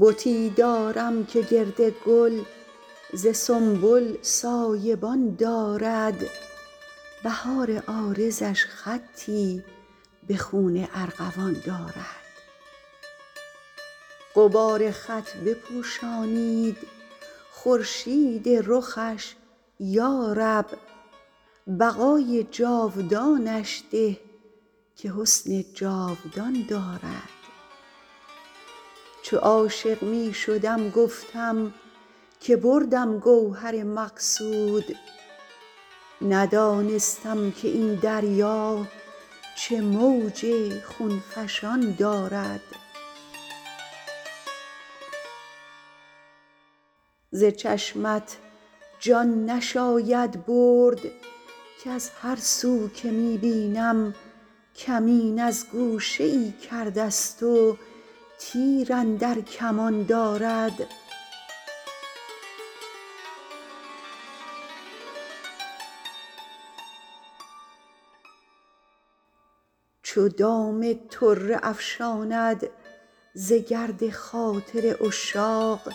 بتی دارم که گرد گل ز سنبل سایه بان دارد بهار عارضش خطی به خون ارغوان دارد غبار خط بپوشانید خورشید رخش یا رب بقای جاودانش ده که حسن جاودان دارد چو عاشق می شدم گفتم که بردم گوهر مقصود ندانستم که این دریا چه موج خون فشان دارد ز چشمت جان نشاید برد کز هر سو که می بینم کمین از گوشه ای کرده ست و تیر اندر کمان دارد چو دام طره افشاند ز گرد خاطر عشاق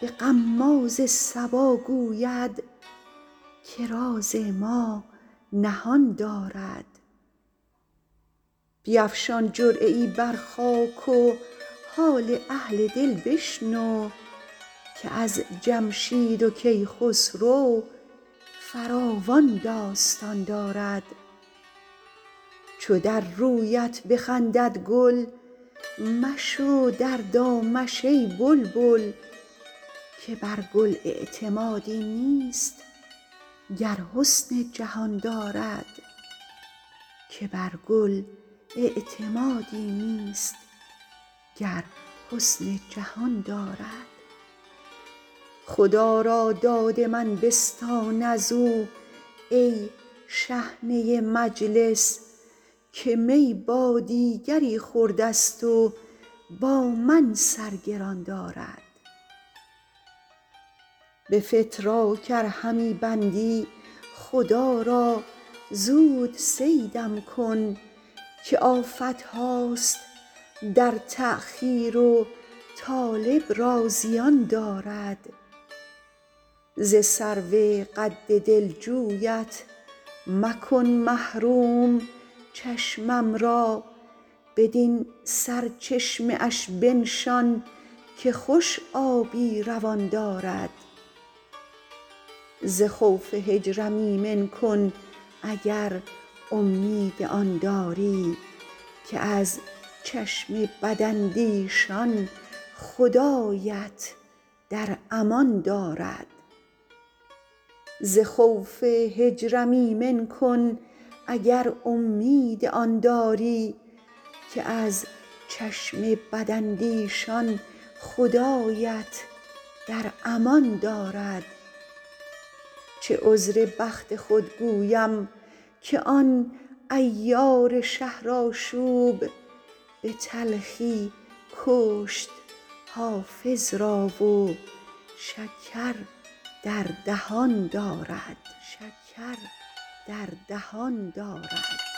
به غماز صبا گوید که راز ما نهان دارد بیفشان جرعه ای بر خاک و حال اهل دل بشنو که از جمشید و کیخسرو فراوان داستان دارد چو در رویت بخندد گل مشو در دامش ای بلبل که بر گل اعتمادی نیست گر حسن جهان دارد خدا را داد من بستان از او ای شحنه مجلس که می با دیگری خورده ست و با من سر گران دارد به فتراک ار همی بندی خدا را زود صیدم کن که آفت هاست در تأخیر و طالب را زیان دارد ز سرو قد دلجویت مکن محروم چشمم را بدین سرچشمه اش بنشان که خوش آبی روان دارد ز خوف هجرم ایمن کن اگر امید آن داری که از چشم بداندیشان خدایت در امان دارد چه عذر بخت خود گویم که آن عیار شهرآشوب به تلخی کشت حافظ را و شکر در دهان دارد